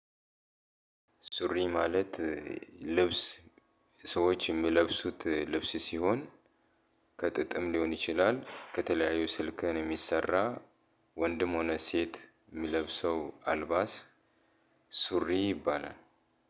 ሱሪ ማለት ልብስ ሰዎች የሚለብሱት ልብስ ሲሆን ከጥጥም ሊሆን ይችላል ከተለያዩ ሲልከን የሚሰራ ወንድም ሆነ ሴት የሚለብሰው አልባስ ሱሪ ይባላል።